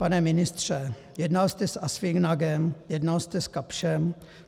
Pane ministře, jednal jste s ASFINAGem, jednal jste s KAPSCHem.